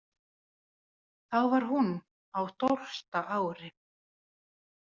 Þá var hún á tólfta ári.